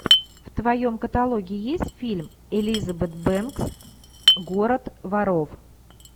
в твоем каталоге есть фильм элизабет бэнкс город воров